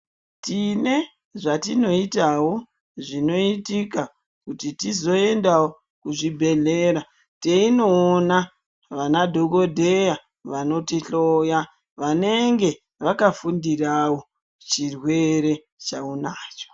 Tine zvatinoitawo, zvinoitika kuti tizoendawo kuzvibhedhlera teinoona vana dhokodheya vanotihloya vanenge vakafundirawo chirwere chaunacho